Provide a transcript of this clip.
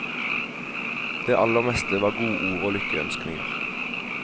Det aller meste var godord og lykkeønskninger.